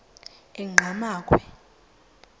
enqgamakhwe